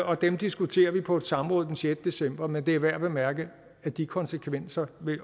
og dem diskuterer vi på et samråd den sjette december men det er værd at bemærke at de konsekvenser